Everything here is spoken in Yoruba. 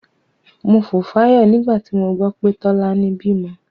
Mo fò fáyọ̀ nígbà tí mo gbọ́ pé Tọ́lání bímọ.